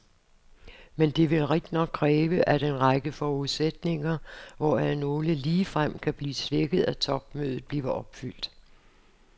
Men det vil rigtignok kræve, at en række forudsætninger, hvoraf nogle ligefrem kan blive svækket at topmødet, bliver opfyldt.